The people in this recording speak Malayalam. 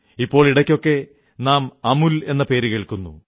ഇപ്പോൾ ഇടയ്ക്കൊക്കെ നാം അമൂൽ എന്ന പേരു കേൾക്കുന്നു